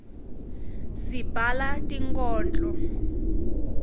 sibhala tinkhondlo